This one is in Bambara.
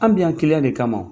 An bi yan kiliyan de kama